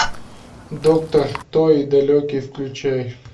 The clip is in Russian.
доктор кто и далеки включай